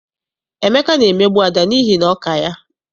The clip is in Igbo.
Emeka na-emegbu Ada n'ihi na ọ ka ya.